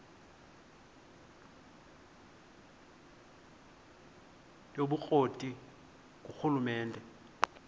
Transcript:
yobukro ti ngurhulumente